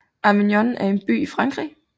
Avignon er en by i Frankrig